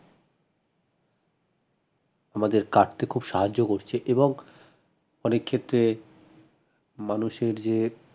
আমাদের কাটতে খুব সাহায্য করছে এবং অনেক ক্ষেত্রে মানুষের যে